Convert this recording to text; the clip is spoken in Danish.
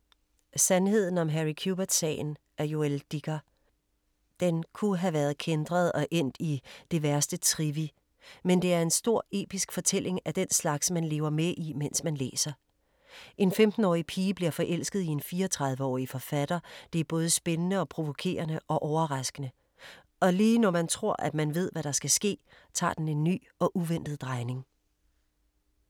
Sandheden om Harry Quebert-sagen af Joël Dicker. Den kunne have været kæntret og endt i det værste trivi, men det er en stor episk fortælling af den slags, man lever med i mens man læser. En 15-årig pige bliver forelsket i en 34-årig forfatter, det er både spændende og provokerende og overraskende. Og lige når man tror at man ved, hvad der skal ske, tager den en ny og uventet drejning.